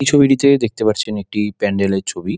এই ছবিটিতে দেখতে পারছি এখানে একটি প্যান্ডেল এর ছবি |